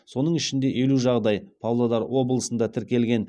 соның ішінде елу жағдай павлодар облысында тіркелген